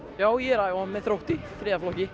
já ég er æfa með Þrótti þriðja flokki